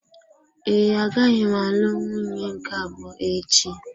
Ee, agaghị m alụ nwunye nke abụọ echi.